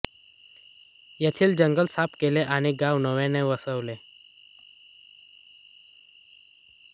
येथील जंगल साफ केले आणि गाव नव्याने वसविले